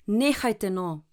Nehajte no.